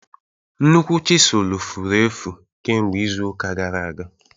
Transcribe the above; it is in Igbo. Nnukwu chisulu furu efu kemgbe izu ụka gara aga.